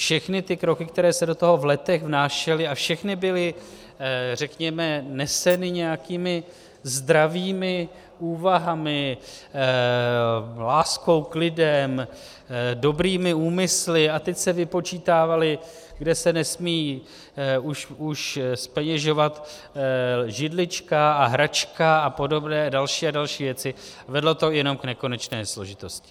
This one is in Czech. Všechny ty kroky, které se do toho v letech vnášely a všechny byly, řekněme, neseny nějakými zdravými úvahami, láskou k lidem, dobrými úmysly a teď se vypočítávalo, kde se nesmí už zpeněžovat židlička a hračka a podobné další a další věci - vedlo to jenom k nekonečné složitosti.